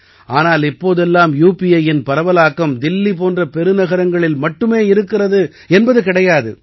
ஆனால் இப்போது எல்லாம் யூ பி ஐயின் பரவலாக்கம் தில்லி போன்ற பெருநகரங்களில் மட்டும் இருக்கிறது என்பது கிடையாது